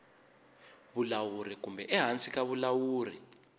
vulawuri kumbe ehansi ka vulawuri